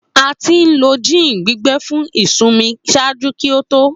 A ti lo gin gbigbẹ fun isunmi ṣaaju ki o to.